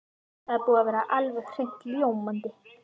Þetta er búið að vera alveg hreint ljómandi.